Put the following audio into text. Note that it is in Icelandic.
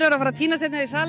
fara að týnast í salinn